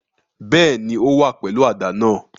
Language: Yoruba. Bẹ́ẹ̀ni, o wa pẹlu àdá náa